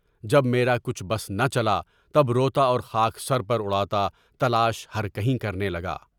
جب میرا کچھ بس نہ چلا تب روتا اور خاک سر پر اُڑاتا تلاشِ ہر کہیں کرنے لگا۔